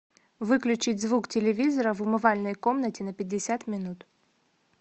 выключить звук телевизора в умывальной комнате на пятьдесят минут